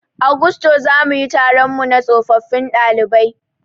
A gusto zamuyi taronmu na tsofaffin ɗalibai